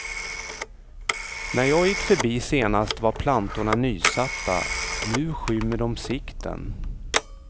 När jag gick förbi senast var plantorna nysatta, nu skymmer de sikten.